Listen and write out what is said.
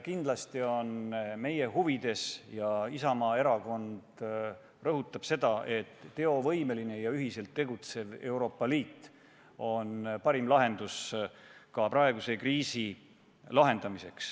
Kindlasti on meie huvides – Isamaa Erakond rõhutab seda – teovõimeline ja ühiselt tegutsev Euroopa Liit, see on parim lahendus ka praeguse kriisi korral.